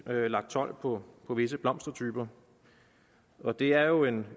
lagt told på visse blomstertyper og det er jo en